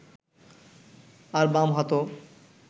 আর বাম হাতও